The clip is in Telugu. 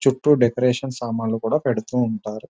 చుట్టూ డెకరేషన్ సమన్లు పెడుతూ ఉంటారు .